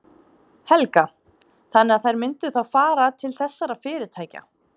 Helga: Þannig að þær myndu þá fara til þessara fyrirtækja?